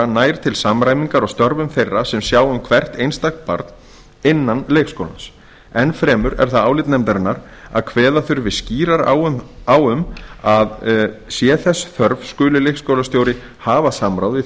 nær til samræmingar á störfum þeirra sem sjá um hvert einstakt barn innan leikskólans enn fremur er það álit nefndarinnar að kveða þurfi skýrar á um að sé þess þörf skuli leikskólastjóri hafa samráð við